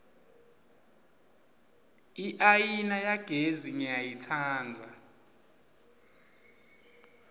iayina yagesi ngiyayitsandza